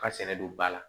Ka sɛnɛ don ba la